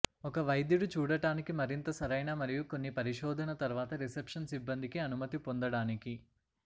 ఒక వైద్యుడు చూడటానికి మరింత సరైన మరియు కొన్ని పరిశోధన తర్వాత రిసెప్షన్ సిబ్బందికి అనుమతి పొందడానికి